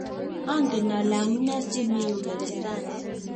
angen ale amunee si mii yu geresani